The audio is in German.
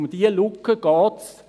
Um diese Lücke geht es.